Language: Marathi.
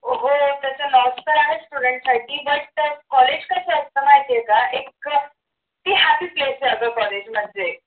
हो त्याच नाव तर आहेच student साठी but college कस असत माहितेय का ती happy place आहे college म्हणजे